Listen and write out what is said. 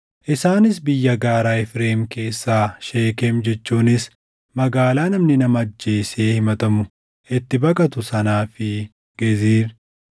Isaanis biyya gaaraa Efreem keessaa Sheekem jechuunis magaalaa namni nama ajjeesee himatamu itti baqatu sanaa fi Geezir,